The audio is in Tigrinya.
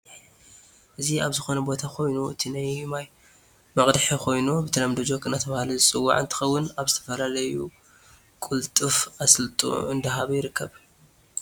እዚ ኣብ ዝኮነ ቦታ ኮይኑ እቲ ናይ ማይ መቅድሕ ኮይኑ ብተለምዶ ጀክ እዳተበሃለ ዝፅዋዒ እንትከውን ኣብ ዝተፈላላዩ ቁልጥፍ ኣሳልጦ እዳሃበ ይርከብ።